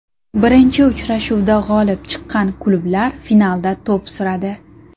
Birinchi uchrashuvda g‘olib chiqqan klublar finalda to‘p suradi.